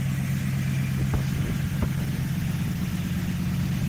фаст фуд покажи